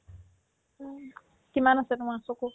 কিমান আছে তোমাৰ চকু